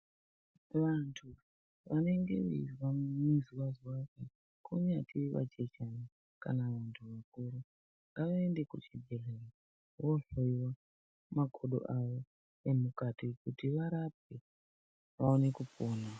Vantu vanenge veizwa muzwazwati kunyange vachechana kana vantu vakuru ngavaende kuchibhedhlera vohloyiwa makodo avo emukati kuti varapwe vaone kupona.